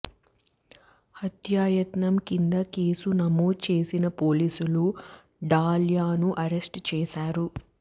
హత్యాయత్నం కింద కేసు నమోదు చేసిన పోలీసులు డాల్యాను అరెస్ట్ చేశారు